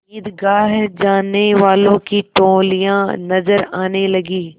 ईदगाह जाने वालों की टोलियाँ नजर आने लगीं